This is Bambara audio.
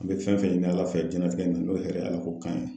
An bɛ fɛn fɛn ɲini ala fɛ diɲɛlatigɛ nin n'o ye hɛrɛ ye ala ko kan ye.